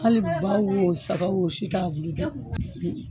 Ali ba wo saga wo o si t'a bulu dun